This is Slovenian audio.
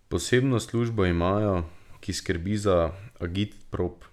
Posebno službo imajo, ki skrbi za ta agitprop.